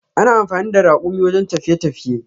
Ana amfani da rakumi wajen tafiye tafiye.